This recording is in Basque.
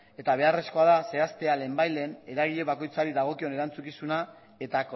eta beharrezkoa dela zehaztea lehenbailehen eragile bakoitzari dagokion erantzukizuna eta